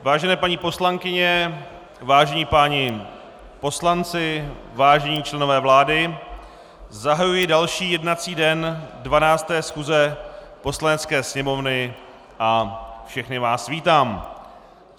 Vážené paní poslankyně, vážení páni poslanci, vážení členové vlády, zahajuji další jednací den 12. schůze Poslanecké sněmovny a všechny vás vítám.